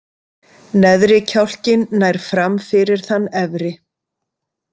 Neðri kjálkinn nær fram fyrir þann efri.